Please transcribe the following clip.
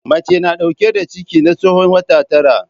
Mace tana dauke da ciki na tsawon wata tara.